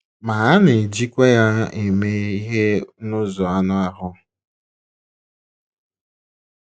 Ma, a na - ejikwa ya eme ihe n’ụzọ anụ ahụ́.